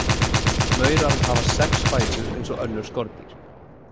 Maurar hafa sex fætur eins og önnur skordýr: